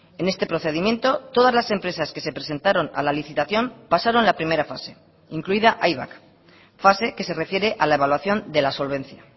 en este procedimiento todas las empresas que se presentaron a la licitación pasaron la primera fase incluida aibak fase que se refiere a la evaluación de la solvencia